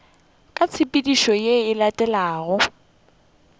ka tshepedišo ye e latelago